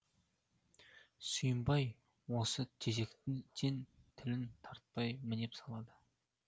сүйімбай осы тезектен тілін тартпай мінеп салады